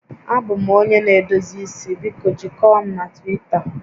Abụ m onye na-edozi isi, biko jikọọ m na Twita